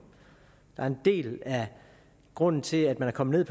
en del af grunden til at man er kommet